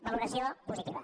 valoració positiva